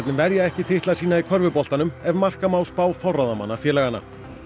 verja ekki titla sína í körfuboltanum ef marka má spá forráðamanna félaganna